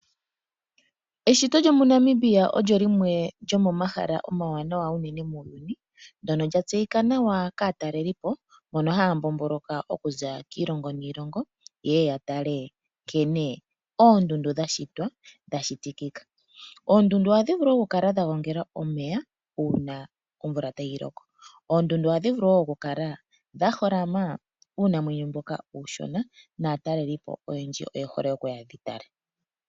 Eshito lyomuNamibia olyo limwe lyomomahala omawanawa unene muuyuni ndyono lya tseyika nawa kaatalelipo mbono haya mbomboloka okuza kiilongo niilongo ye ye ya tale nkene oondundu dha shitwa dha shitikika. Oondundu ohadhi vulu okukala dha gongela omeya uuna omvula tayi loko. Oondundu ohadhi vulu okukala dha holama uunamwenyo mboka uushona naatalelipo oyendji oye hole okuya yedhi tale.